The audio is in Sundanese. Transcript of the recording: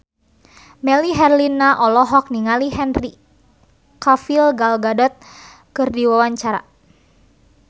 Melly Herlina olohok ningali Henry Cavill Gal Gadot keur diwawancara